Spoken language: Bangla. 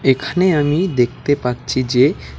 এখানে আমি দেখতে পাচ্ছি যে--